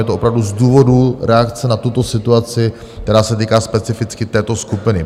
Je to opravdu z důvodu reakce na tuto situaci, která se týká specificky této skupiny.